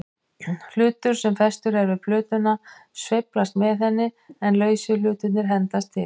Hlutur sem festur er við plötuna sveiflast með henni, en lausu hlutirnir hendast til.